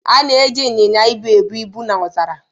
A na-eji inyinya ibu ebu ibu na ọzara.